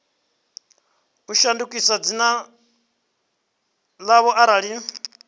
i shandukise dzina ḽayo arali